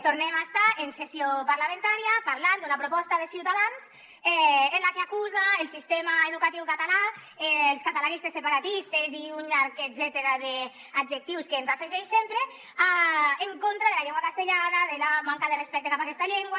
tornem a estar en sessió parlamentària parlant d’una proposta de ciutadans en la que acusa el sistema educatiu català els catalanistes separatistes i un llarg etcètera d’adjectius que ens afegeix sempre en contra de la llengua castellana de la manca de respecte cap a aquesta llengua